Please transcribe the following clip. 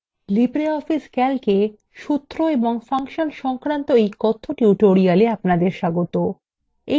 libreoffice calc এ সূত্র এবং ফাংশন সংক্রান্ত কথ্য tutorial এ আপনাদের স্বাগত